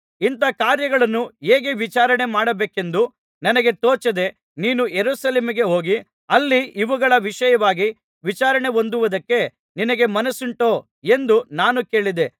ಇಂಥ ಕಾರ್ಯಗಳನ್ನು ಹೇಗೆ ವಿಚಾರಣೆಮಾಡಬೇಕೆಂಬುದು ನನಗೆ ತೋಚದೆ ನೀನು ಯೆರೂಸಲೇಮಿಗೆ ಹೋಗಿ ಅಲ್ಲಿ ಇವುಗಳ ವಿಷಯವಾಗಿ ವಿಚಾರಣೆಹೊಂದುವುದಕ್ಕೆ ನಿನಗೆ ಮನಸ್ಸುಂಟೋ ಎಂದು ನಾನು ಕೇಳಿದೆ